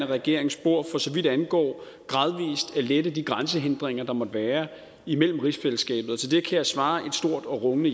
regerings spor for så vidt angår gradvis at lette de grænsehindringer der måtte være imellem rigsfællesskabet og til det kan jeg svare et stort og rungende